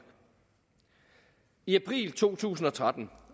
i april to tusind og tretten